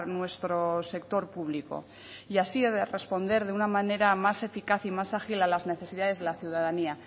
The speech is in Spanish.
nuestro sector público y así responder de una manera más eficaz y más ágil a las necesidades de la ciudadanía